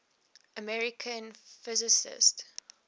american physicists